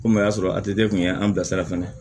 Komi o y'a sɔrɔ a kun ye an bilasira fana